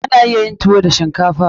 Ana iya yin tuwo da shinkafa.